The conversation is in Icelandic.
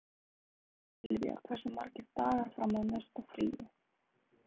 Silvía, hversu margir dagar fram að næsta fríi?